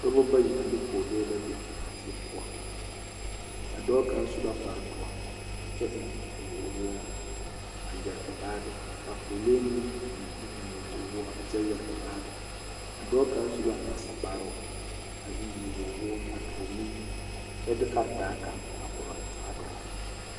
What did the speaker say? Dɔba bayi sne pɔgelee la be die poɔ a dɔɔ kaŋ su la kparedoɔ kyɛ eŋ nyɔwore a yɛre o baage ka pɔgelee meŋ eŋ nyɔbogwoɔ kyɛ yɛre o baage a dɔɔ kaŋ su la nasakparoo a eŋ nyɔbogwoɔ a toore nuwoɔ kyɛ de karetaa kaŋ a korɔ a dɔɔ.